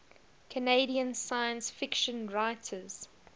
canadian science fiction writers